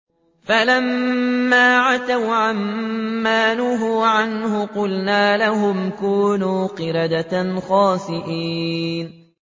فَلَمَّا عَتَوْا عَن مَّا نُهُوا عَنْهُ قُلْنَا لَهُمْ كُونُوا قِرَدَةً خَاسِئِينَ